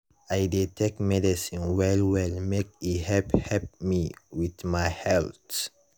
i dey take medicine well well make e help help me with my health.